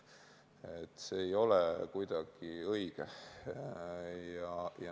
See kõik ei ole kuidagi õige.